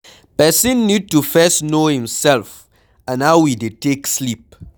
Person need to first know im self and how e take dey sleep